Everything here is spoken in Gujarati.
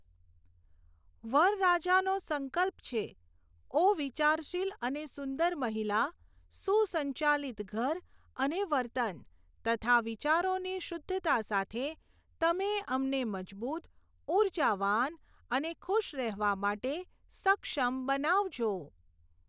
વરરાજાનો સંકલ્પ છે, ઓ વિચારશીલ અને સુંદર મહિલા, સુસંચાલિત ઘર અને વર્તન તથા વિચારોની શુદ્ધતા સાથે, તમે અમને મજબૂત, ઊર્જાવાન અને ખુશ રહેવા માટે સક્ષમ બનાવજો.